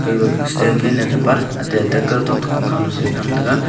gaga standfan thapa ate kaotok toh pankhanyu samraiga.